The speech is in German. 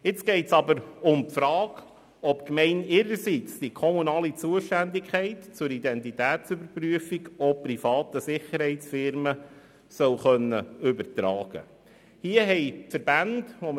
Nun geht es aber um die Frage, ob die Gemeinde ihrerseits die kommunale Zuständigkeit für die Identitätsüberprüfung auch privaten Sicherheitsunternehmen übertragen können solle.